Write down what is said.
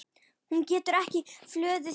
Hún getur ekki fjölgað sér.